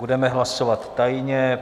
Budeme hlasovat tajně.